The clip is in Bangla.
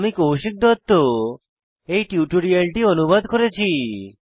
আমি কৌশিক দত্ত এই টিউটোরিয়ালটি অনুবাদ করেছি